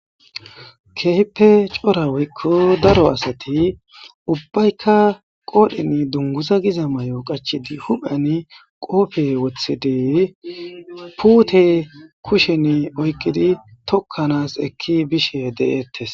Keeheppe cora woykku daro asati ubbaykka qoodhin dunguza giza may7o qachidi huphan qoope wothidey puute kushen oyqidi tokkanas ekki bishe de7eettes